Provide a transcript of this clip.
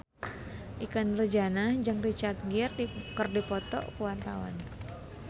Ikke Nurjanah jeung Richard Gere keur dipoto ku wartawan